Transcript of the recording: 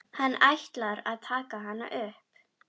Hann ætlar að taka hana upp.